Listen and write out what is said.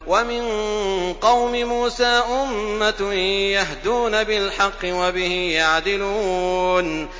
وَمِن قَوْمِ مُوسَىٰ أُمَّةٌ يَهْدُونَ بِالْحَقِّ وَبِهِ يَعْدِلُونَ